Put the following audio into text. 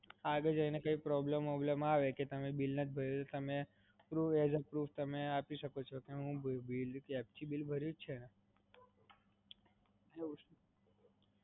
આગળ જઈને કાઇ problem વોબ્લેમ આવે કે તમે bill નથી ભર્યું તો તમે proof આપી શકો કે તમે app થી bill ભર્યું જ છે ને.